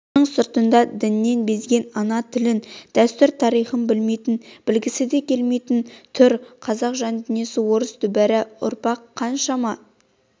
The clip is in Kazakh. мұның сыртында діннен безген ана тілін дәстүр-тарихын білмейтін білгісі де келмейтін түр қазақ жандүниесі орыс дүбәра ұрпақ қаншама